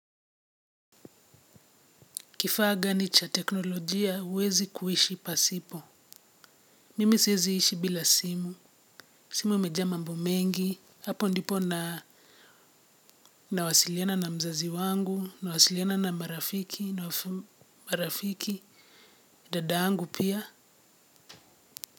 Kifaa gani cha teknolojia, uwezi kuishi pasipo. Mimi sieziishi bila simu. Simu imejaa mambo mengi. Hapo ndipo nawasiliana na mzazi wangu, nawasiliana na marafiki, na marafiki, dada yangu pia.